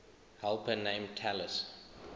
helper named talus